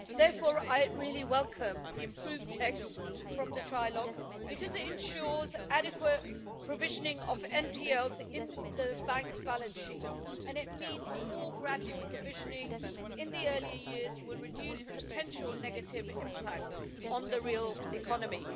Therefore, I really welcome the improved text from the trilogue because it ensures adequate provisioning of NPLs in the banks' balance sheets, and a more gradual provisioning in the earlier years will reduce the potential negative impact on the real economy.